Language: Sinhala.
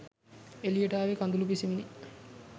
එළියට ආවේ කඳුළු පිසිමිනි